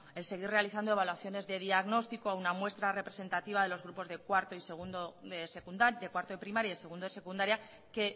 el seguir realizando evaluaciones de diagnóstico a una muestra representativa a los alumnos de cuarto de primaria y segundo de secundaria que